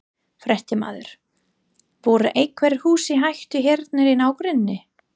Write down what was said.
Fréttamaður: Voru einhver hús í hættu hérna í nágrenninu?